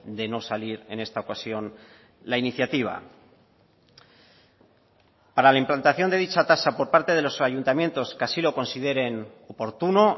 de no salir en esta ocasión la iniciativa para la implantación de dicha tasa por parte de los ayuntamientos que así lo consideren oportuno